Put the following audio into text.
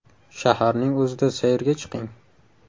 Shaharning o‘zida sayrga chiqing.